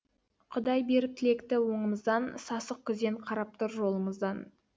құдай беріп тілекті оңымыздан сасық күзен қарап тұр жолымыздан